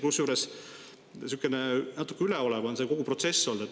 Kusjuures, sihukene natuke üleolev on kogu see protsess olnud.